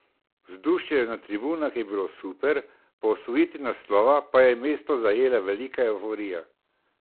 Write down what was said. Vzdušje na tribunah je bilo super, po osvojitvi naslova pa je mesto zajela velika evforija.